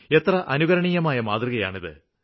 എത്ര അനുകരണീയമായ മാതൃകയാണിത്